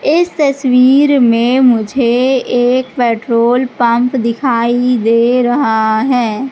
इस तसवीर में मुझे एक पेट्रोल पंप दिखाई दे रहा है।